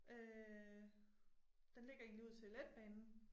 Øh den ligger egentlig ud til letbanen